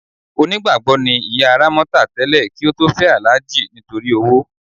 Onígbàgbọ́ ni ìyá Rámọ́tà tẹ́lẹ̀ kí ó tó fẹ́ Alhaji nítorí owó.